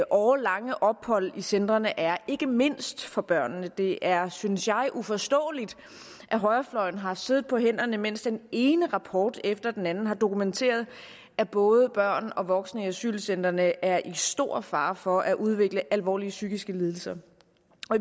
årelange ophold i centrene er ikke mindst for børnene det er synes jeg uforståeligt at højrefløjen har siddet på hænderne mens den ene rapport efter den anden har dokumenteret at både børn og voksne i asylcentrene er i stor fare for at udvikle alvorlige psykiske lidelser